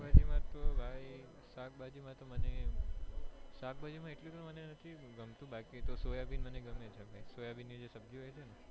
પેહલી વાત તો ભાઈ શાક ભાજી માતો મને શાક ભાજી માટે એટલું નથી ગમતું બાકી તો સોયાબિન મને ગમે છે સોયાબીન ની જે સબ્જી હોય છેને